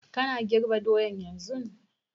Kana girb doyan yanzun?